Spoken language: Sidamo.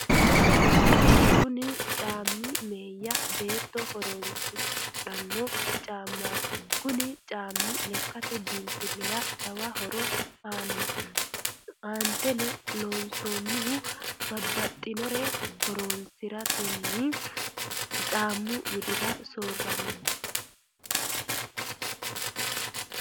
kuni caammi meeya beetto horonsidhanno caammati. kuni caammi lekkate biinfilira jawa horo aanno. aanteteno loonsannihu babbaxinnore horonsiratenni caammu widira soorinanni.